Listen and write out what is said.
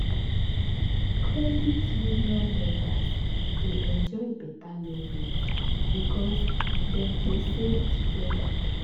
credit union members dey enjoy better loan rate because dem dey save together.